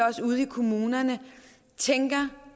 også ude i kommunerne tænker